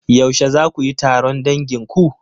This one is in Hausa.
Yaushe za kuyi taron dangin ku?